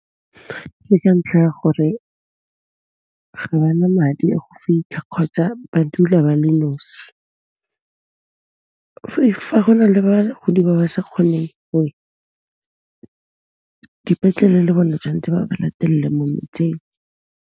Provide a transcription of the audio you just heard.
Ke ka ntlha ya gore ga ba na madi a go fitlha kgotsa ba dula ba le nosi. Fa go na le bagodi ba ba sa kgoneng go ya, dipetlele le bone tshwantse ba ba latelle mo motseng.